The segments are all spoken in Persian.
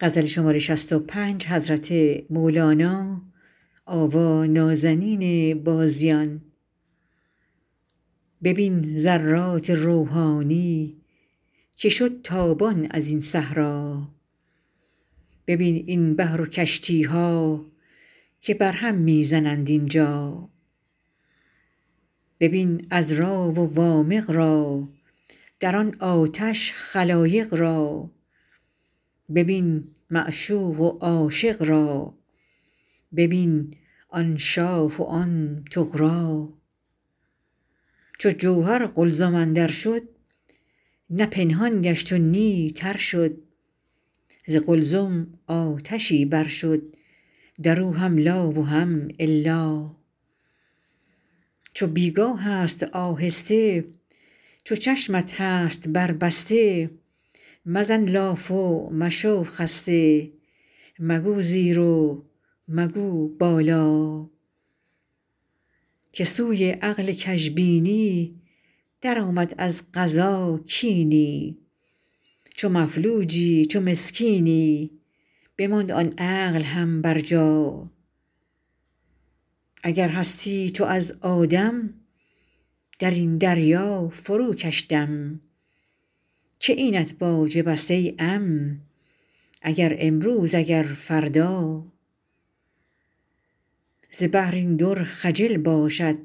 ببین ذرات روحانی که شد تابان از این صحرا ببین این بحر و کشتی ها که بر هم می زنند اینجا ببین عذرا و وامق را در آن آتش خلایق را ببین معشوق و عاشق را ببین آن شاه و آن طغرا چو جوهر قلزم اندر شد نه پنهان گشت و نی تر شد ز قلزم آتشی بر شد در او هم لا و هم الا چو بی گاه ست آهسته چو چشمت هست بربسته مزن لاف و مشو خسته مگو زیر و مگو بالا که سوی عقل کژبینی درآمد از قضا کینی چو مفلوجی چو مسکینی بماند آن عقل هم برجا اگر هستی تو از آدم در این دریا فروکش دم که اینت واجب ست ای عم اگر امروز اگر فردا ز بحر این در خجل باشد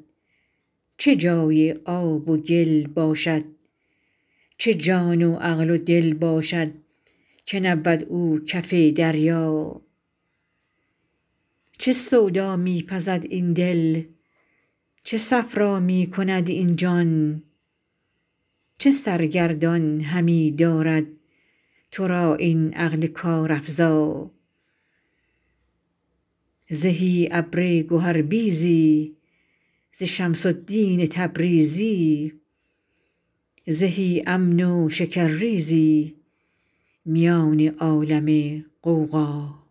چه جای آب و گل باشد چه جان و عقل و دل باشد که نبود او کف دریا چه سودا می پزد این دل چه صفرا می کند این جان چه سرگردان همی دارد تو را این عقل کارافزا زهی ابر گهربیزی ز شمس الدین تبریزی زهی امن و شکرریزی میان عالم غوغا